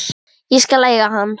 Ég skal eiga hann.